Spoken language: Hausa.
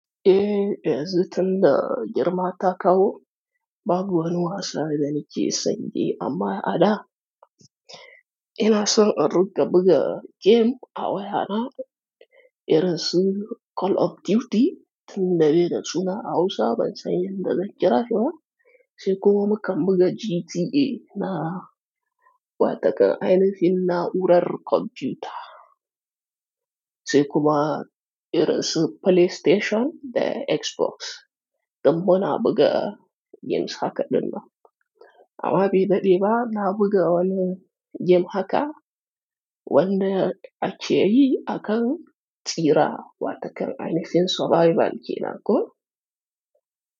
Eh, yanzu tunda girma ta kawo, babu wani wasa da nake san yi amma ada. Ina son in ringa buga game a wayana, irin su Call of Duty tunda be da suna a Hausa ban san yadda zan kira shi ba. Sai kuma mukan buga GTA na watakan ainifin na'urar kwanfuta sai kuma irin su PlayStation da Xbox, dan muna buga games haka dinnan. Amma be daɗe ba na buga wani game haka wanda ake yi akan tsira watakan ainihin survival ke nan ko.